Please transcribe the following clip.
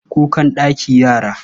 Kukan daki yara?